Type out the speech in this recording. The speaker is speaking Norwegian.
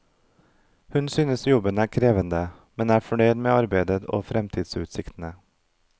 Hun synes jobben er krevende, men er fornøyd med arbeidet og fremtidsutsiktene.